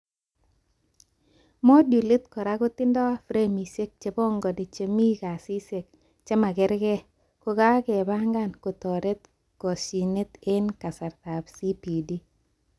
Modulit kora kotibdoi foromishek chebangani chemi kasishek chemakerke kokakebangan kotoret koshinet eng kasrtaab CPD